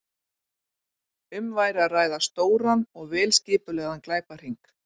Um væri að ræða stóran og vel skipulagðan glæpahring.